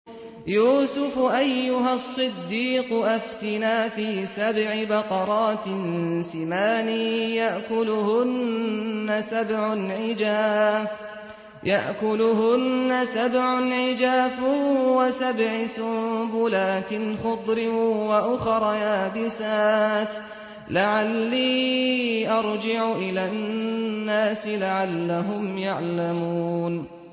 يُوسُفُ أَيُّهَا الصِّدِّيقُ أَفْتِنَا فِي سَبْعِ بَقَرَاتٍ سِمَانٍ يَأْكُلُهُنَّ سَبْعٌ عِجَافٌ وَسَبْعِ سُنبُلَاتٍ خُضْرٍ وَأُخَرَ يَابِسَاتٍ لَّعَلِّي أَرْجِعُ إِلَى النَّاسِ لَعَلَّهُمْ يَعْلَمُونَ